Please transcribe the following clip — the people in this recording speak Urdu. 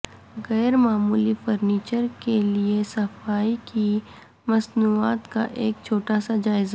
غیر معمولی فرنیچر کے لئے صفائی کی مصنوعات کا ایک چھوٹا سا جائزہ